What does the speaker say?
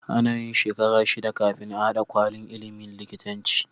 Anayin shekara shida kafin a hada kwalin ilimin likitanci